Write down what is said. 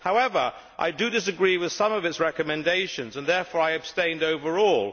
However, I disagree with some of its recommendations, and therefore I abstained overall.